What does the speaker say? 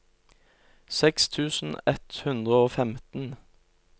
seks tusen ett hundre og femten